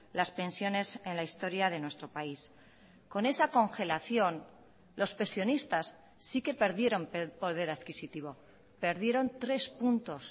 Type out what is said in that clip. las pensiones en la historia de nuestro país con esa congelación los pensionistas sí que perdieron poder adquisitivo perdieron tres puntos